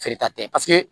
Feere ta tɛ paseke